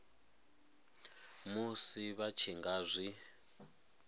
musi vha tshi nga zwi